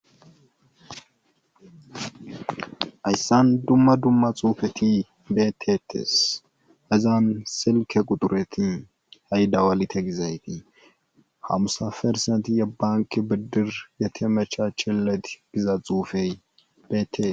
Hayssan dumma dumma xuufeti beeteetes hazan silkke xuxureti hay dawalite gizayti hamisa persentti ye bankki biddir yetemechacheleti giza xuufey beette.